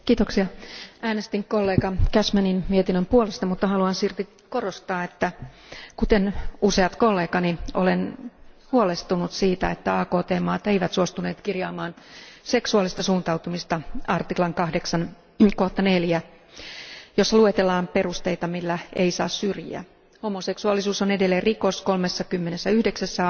Arvoisa puhemies, äänestin kollega Cashmanin mietinnön puolesta, mutta haluan silti korostaa, että kuten useat kollegani olen huolestunut siitä, että AKT maat eivät suostuneet kirjaamaan seksuaalista suuntautumista 8 artiklan 4 kohtaan, jossa luetellaan perusteita, joilla ei saa syrjiä. Homoseksuaalisuus on edelleen rikos 39